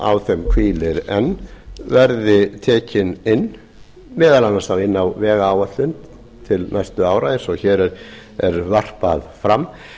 á þeim hvílir enn verði tekinn inn þá meðal annars inn á vegáætlun til næstu ára eins og hér er varpað fram en